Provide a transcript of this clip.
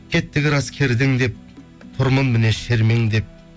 кеттік рас кердің деп тұрмын міне шермеңдеп